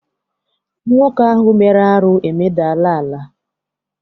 Nwoke ahụ mere arụ emedala ala.